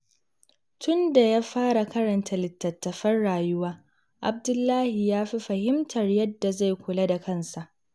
Tun da ya fara karanta littattafan rayuwa, Abdullahi ya fi fahimtar yadda zai kula da kansa.